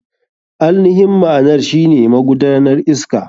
AInihin ma'anar shine magudanar iska.